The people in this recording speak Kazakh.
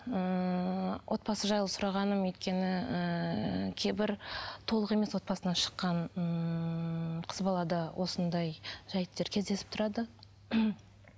ыыы отбасы жайлы сұрағаным өйткені ыыы кейбір толық емес отбасынан шыққан ыыы қыз балада осындай жайттар кездесіп тұрады